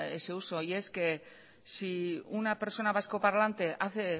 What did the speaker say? ese uso y es que si una persona vasco parlante hace